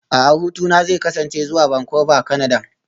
A'a hutuna zai kasance zuwa Vancouver, Kanada